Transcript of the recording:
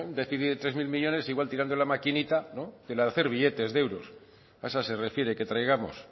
tres mil millónes igual tirando la maquinita no de la hacer billetes de euros a esa se refiere que traigamos